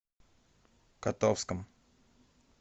котовском